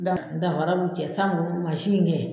Dan danfara b'u cɛ san ko mansin in kɛ.